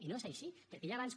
i no és així perquè ja abans